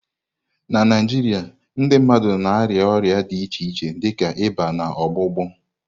Na Naijiria, ndị mmadụ na-arịa ọrịa dị iche iche dịka ịba na ọgbụgbọ.